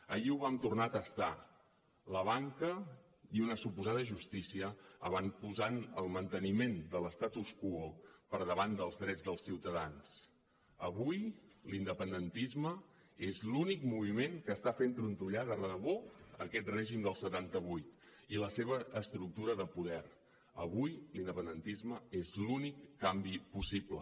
ahir ho vam tornar a tastar la banca i una suposada justícia avantposant el manteniment de l’avui l’independentisme és l’únic moviment que està fent trontollar de debò aquest règim del setanta vuit i la seva estructura de poder avui l’independentisme és l’únic canvi possible